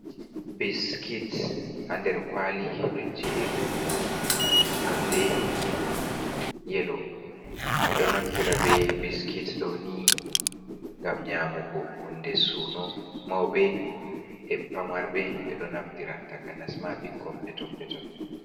Biskit ha nder kwali ɗo jeri nonde yelo. Ɓeɗo naftira be biskit ɗoni ngam nyamugo, hunde suno mawbe e famarɓe ɓeɗo naftira takanas ma bikkon peton peton.